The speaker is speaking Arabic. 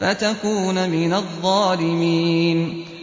فَتَكُونَ مِنَ الظَّالِمِينَ